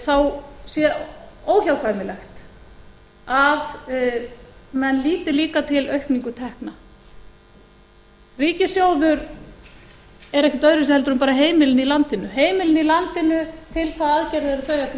þá sé óhjákvæmilegt að menn líti líka til aukningu tekna ríkissjóður er ekkert öðruvísi heldur en bara heimilin í landinu heimilin í landinu til hvaða aðgerða eru þau að